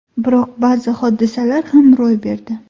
Biroq ba’zi hodisalar ham ro‘y berdi.